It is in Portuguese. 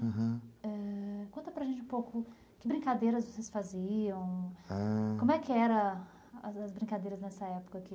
Aham, ãh, conta para a gente um pouco, que brincadeiras vocês faziam, ãh, como é que eram as brincadeiras nessa época aqui?